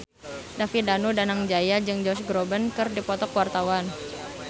David Danu Danangjaya jeung Josh Groban keur dipoto ku wartawan